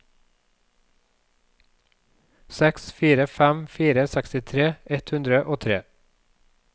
seks fire fem fire sekstitre ett hundre og tre